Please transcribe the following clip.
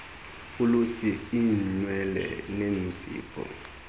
ulusu iinwele neenzipho